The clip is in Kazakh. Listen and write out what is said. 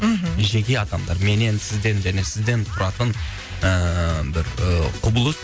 мхм жеке адамдар менен сізден және сізден тұратын ііі бір і құбылыс